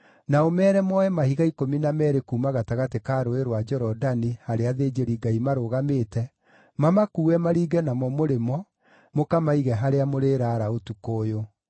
na ũmeere moe mahiga ikũmi na meerĩ kuuma gatagatĩ ka Rũũĩ rwa Jorodani handũ harĩa athĩnjĩri-Ngai maarũgamĩte, mamakuue maringe namo mũrĩmo mũkamaige harĩa mũrĩraara ũtukũ ũyũ.”